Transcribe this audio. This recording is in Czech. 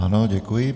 Ano, děkuji.